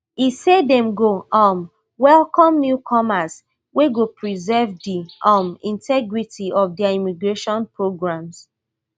e say dem go um welcome newcomers wey go preserve di um integrity of dia immigration programs